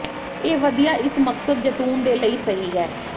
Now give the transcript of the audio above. ਇਹ ਵਧੀਆ ਇਸ ਮਕਸਦ ਜ਼ੈਤੂਨ ਦੇ ਲਈ ਸਹੀ ਹੈ